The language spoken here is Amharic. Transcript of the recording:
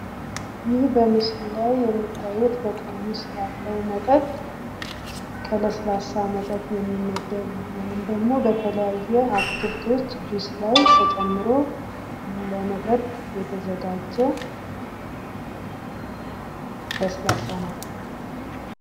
ይህ በምስሉ ላይ የምታዩት በጠርሙስ ያለው መጠጥ ከለስላሳ መጠጥ የሚመደቡ ወይም ደግሞ የተለያየ አትክልቶችን ጁስ ላይ ተጨምሮ ለመጠጥ የተዘጋጀ ለስላሳ መጠጥ ነው።